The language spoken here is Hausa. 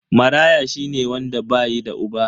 Maraya shine wanda bayi da uba.